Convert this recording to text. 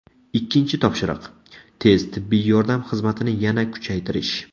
Ikkinchi topshiriq – tez tibbiy yordam xizmatini yana kuchaytirish.